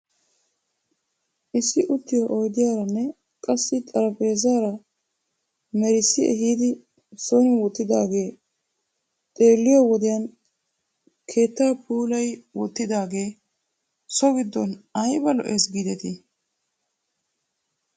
Issi uttiyoo oydiyaaranne qassi xarphpheezzara merissi ehidi son wottidoogee xeelliyoo wodiyan keettaa puulayi wottidaagee so giddon ayba lo'es giidetii ?